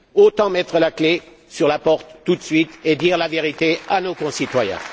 autant mettre la clé sous la porte tout de suite et dire la vérité à nos concitoyens.